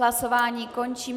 Hlasování končím.